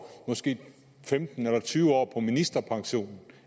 femten eller tyve år på ministerpension